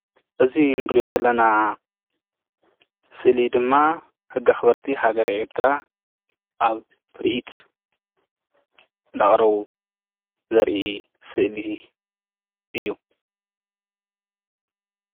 እዚ ንርእዮ ዘለና ስእሊ ድማ ሕጊ አክበርቲ ሃገረ ኤርትራ አብ ትርኢት እንዳኣቕረቡ ዘርኢ ምስሊእዩ።